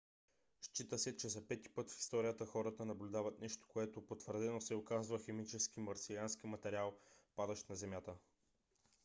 счита се че за пети път в историята хората наблюдават нещо което потвърдено се оказва химически марсиански материал падащ на земята